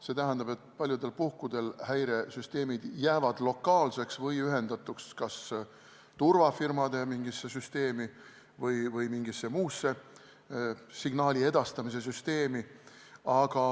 See tähendab, et paljudel puhkudel häiresüsteemid jäävad lokaalseks või ühendatuks kas turvafirmade mingisse süsteemi või mingisse muusse signaali edastamise süsteemi.